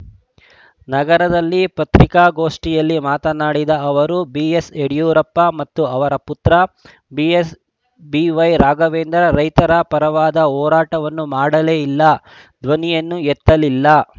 ನಗರದಲ್ಲಿ ಪತ್ರಿಕಾಗೋಷ್ಠಿಯಲ್ಲಿ ಮಾತನಾಡಿದ ಅವರು ಬಿಎಸ್‌ಯಡಿಯೂರಪ್ಪ ಮತ್ತು ಅವರ ಪುತ್ರ ಬಿ ಎಸ್ ಬಿವೈರಾಘವೇಂದ್ರ ರೈತರ ಪರವಾದ ಹೋರಾಟವನ್ನು ಮಾಡಲೇ ಇಲ್ಲ ಧ್ವನಿಯನ್ನು ಎತ್ತಲಿಲ್ಲ